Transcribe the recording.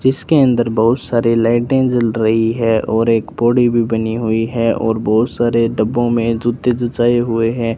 जिसके अंदर बहुत सारे लाइटें जल रही है और एक पोड़ी भी बनी हुई है और बहुत सारे डब्बों में जूते जुटाए हुए हैं।